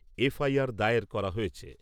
দায়ের করা হয়েছে ।